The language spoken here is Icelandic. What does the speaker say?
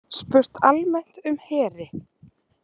Spurt almennt um heri